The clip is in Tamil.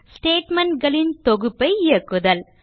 ஸ்டேட்மெண்ட் களின் தொகுப்பை இயக்குதல்